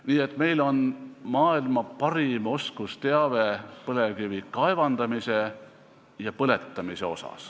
Nii et meil on maailma parim oskusteave põlevkivi kaevandamise ja põletamise kohta.